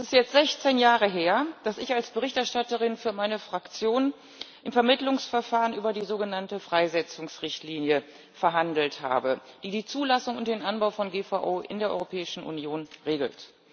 Es ist jetzt 16 Jahre her, dass ich als Berichterstatterin für meine Fraktion im Vermittlungsverfahren über die sogenannte Freisetzungsrichtlinie verhandelt habe, die die Zulassung und den Anbau von GVO in der Europäischen Union regelt.